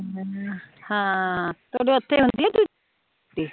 ਹਮ ਥੋਡੇ ਉਥੇ ਹੁੰਦੀ ਏ ਛੁੱਟੀ